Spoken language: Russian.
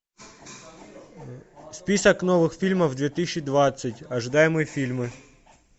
список новых фильмов две тысячи двадцать ожидаемые фильмы